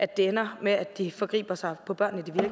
det ender med at de forgriber sig på børn i